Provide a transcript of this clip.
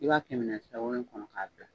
I b'a kɛ minɛn kɔnɔ ka bila.